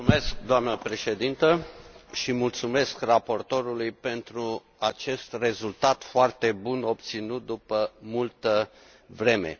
Doamnă Președintă, mulțumesc raportorului pentru acest rezultat foarte bun obținut după multă vreme.